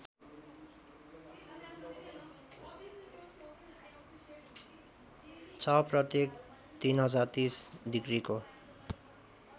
छ प्रत्येक ३०३० डिग्रीको